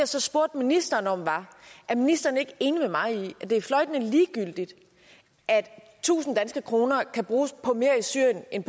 så spurgte ministeren om var er ministeren ikke enig med mig i at det er fløjtende ligegyldigt at tusind kroner kan bruges på mere i syrien end